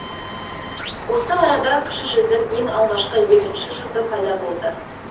осы арада кіші жүздің ең алғашқы егінші жұрты пайда болды